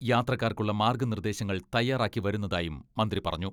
യാത്രക്കാർക്കുള്ള മാർഗ്ഗനിർദ്ദേശങ്ങൾ തയ്യാറാക്കി വരുന്നതായും മന്ത്രി പറഞ്ഞു.